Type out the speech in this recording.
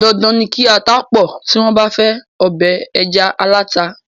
Dandan ni kí ata pọ̀ tí wọ́n bá fẹ ọbẹ̀ ẹja aláta.